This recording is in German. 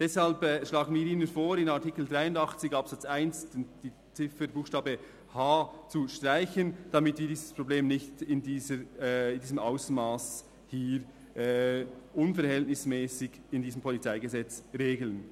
Deshalb schlagen wir Ihnen vor, in Artikel 83 Absatz 1 den Buchstabe h zu streichen, damit wir dieses Problem nicht in diesem Ausmass unverhältnismässig hier im PolG regeln.